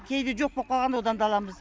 кейде жоқ болып қалғанда одан да аламыз